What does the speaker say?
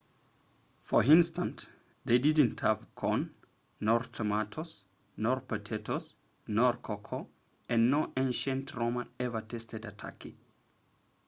for instance they didn't have corn nor tomatoes nor potatoes nor cocoa and no ancient roman ever tasted a turkey